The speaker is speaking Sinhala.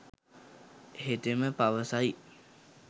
හෙතෙම පවස යි.